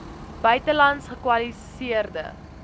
buitelands gekwali seerde